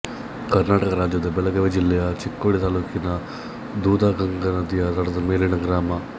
ಕರ್ನಾಟಕ ರಾಜ್ಯದ ಬೆಳಗಾವಿ ಜಿಲ್ಲೆಯ ಚಿಕ್ಕೋಡಿ ತಾಲೂಕಿನ ದೂಧಗಂಗಾ ನದಿಯ ದಡದ ಮೇಲಿನ ಗ್ರಾಮ